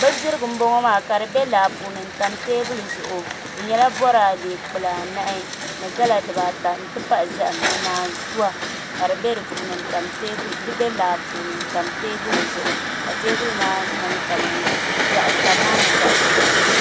Bindirigu n boŋo maa ka di bɛ laa puuni n tam teebuli zuɣu di nyɛla boraadɛ kpulaa nahi ni gala dibaata n ti pahi zaham ni naanzuwa ka di bɛ laa puuni n tam teebuli zuɣu ka teebuli maa tani maa niŋ zaɣ ʒiɛ laasabu